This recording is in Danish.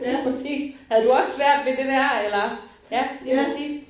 Lige præcis. Havde du også været ved det der eller ja lige præcis